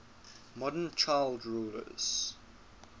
modern child rulers